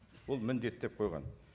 бұл міндет деп қойған